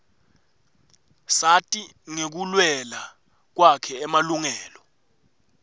sati ngekuluela kwakhe emalungela